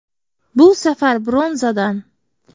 Bu safar bronzadan.